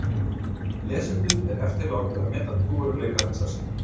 Lesendum er eftirlátið að meta trúverðugleika þessarar skýringar.